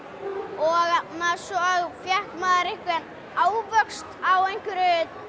og svo fékk maður ávöxt á einhverju